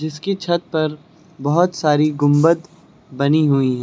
इसके छत पर बहोत सारी गुंबद बनी हुई है।